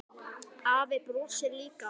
Afi brosir líka.